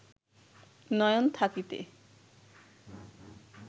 নয়ন থাকিতে